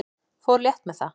Fór létt með það.